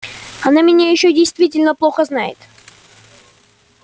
она меня ещё действительно плохо знает